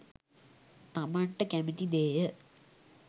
තමන්ට කැමති දේය.